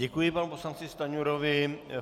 Děkuji panu poslanci Stanjurovi.